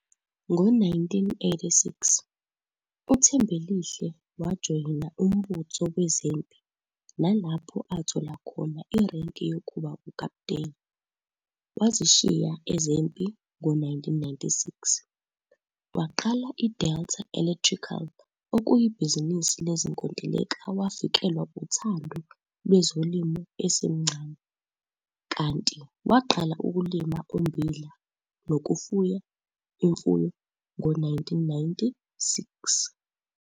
Ngo-1986 uThembelihle wajoyina umbutho wezempi nalapho athola khona irenki yokuba ukapteni. Wazishiya ezempi ngo-1996 waqala i-Delta Electrical okuyibhizinisi lezinkontileka Wafikelwa uthando lwezolimo esemncane, kanti waqala ukulima ummbila nokufuya imfuyo ngo-1996.